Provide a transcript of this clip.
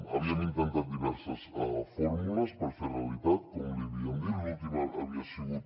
havíem intentat diverses fórmules per fer ho realitat com li havíem dit l’última havia sigut